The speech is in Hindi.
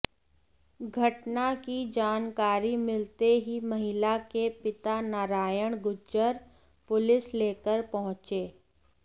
घटना की जानकारी मिलते ही महिला के पिता नारायण गुर्जर पुलिस लेकर पहुंचे